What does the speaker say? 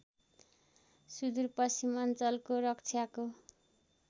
सुदूर पश्चिमाञ्चलको रक्षाको